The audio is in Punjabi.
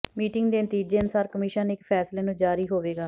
ਮੀਟਿੰਗ ਦੇ ਨਤੀਜੇ ਅਨੁਸਾਰ ਕਮਿਸ਼ਨ ਨੇ ਇੱਕ ਫੈਸਲੇ ਨੂੰ ਜਾਰੀ ਹੋਵੇਗਾ